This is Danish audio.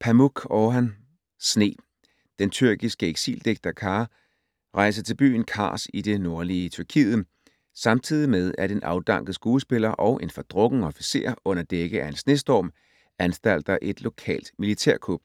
Pamuk, Orhan: Sne Den tyrkiske eksildigter Ka rejser til byen Kars i det nordlige Tyrkiet, samtidig med at en afdanket skuespiller og en fordrukken officer under dække af en snestorm anstalter et lokalt militærkup.